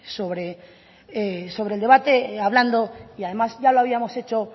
sobre el debate hablando y además ya lo habíamos hecho